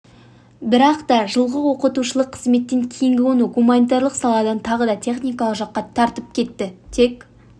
бірақ та жылғы оқытушылық қызметтен кейін оны гуманитарлық саладан тағы да техникалық жаққа тартып кетті тек